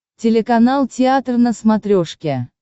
телеканал театр на смотрешке